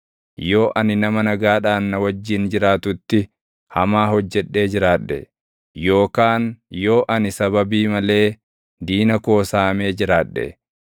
yoo ani nama nagaadhaan na wajjin jiraatutti hamaa hojjedhee jiraadhe, yookaan yoo ani sababii malee diina koo saamee jiraadhe,